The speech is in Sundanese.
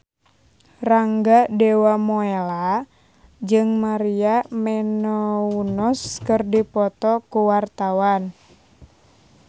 Rangga Dewamoela jeung Maria Menounos keur dipoto ku wartawan